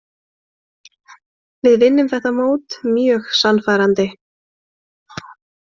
Við vinnum þetta mót mjög sannfærandi.